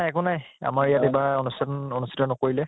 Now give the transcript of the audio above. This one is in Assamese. একো নাই আমাৰ ইয়াত এইবাৰ অনুষ্ঠান অনুষ্ঠিত নকৰিলে